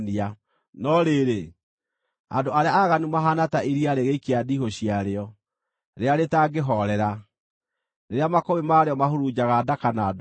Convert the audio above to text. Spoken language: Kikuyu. No rĩrĩ, andũ arĩa aaganu mahaana ta iria rĩgĩikia ndiihũ ciarĩo, rĩrĩa rĩtangĩhoorera, rĩrĩa makũmbĩ marĩo mahurunjaga ndaka na ndooro.